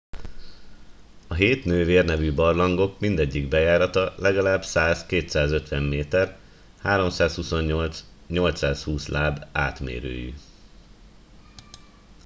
a hét nővér” nevű barlangok mindegyik bejárata legalább 100-250 méter 328-820 láb átmérőjű